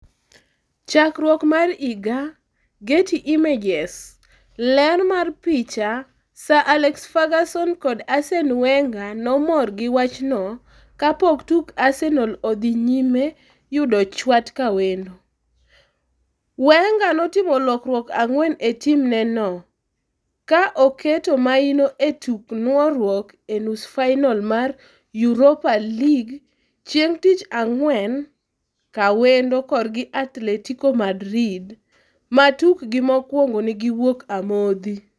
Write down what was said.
Chakruok mar icha, Getty Images. Ler mar picha, Sir Alex Ferguson kod Arsene Wenger nomor gi wachno kapok tuk Arsenal odhi nyime yudo chwat kawendo. Wenger notimo lokruok ang'wen e timneno, ka oketo maino e tuk nuoruok e nus fainol mar Europa League chieng' tich ang'wen ka wendo korgi Atletico Madrid, ma tikgi mokwongo ne giwuok amodhi.